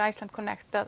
Iceland